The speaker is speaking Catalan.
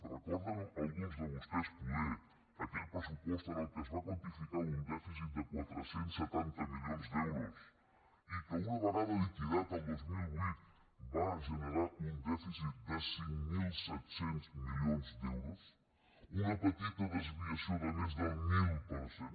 recorden alguns de vostès poder aquell pressupost en el qual es va quantificar un dèficit de quatre cents i setanta milions d’euros i que una vegada liquidat el dos mil vuit va generar un dèficit de cinc mil set cents milions d’euros una petita desviació de més del mil per cent